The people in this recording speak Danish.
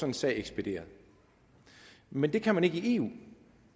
en sag ekspederet men det kan man ikke i eu